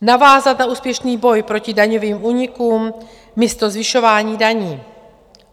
Navázat na úspěšný boj proti daňovým únikům místo zvyšování daní.